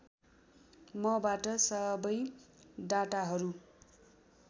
मबाट सबै डाटाहरू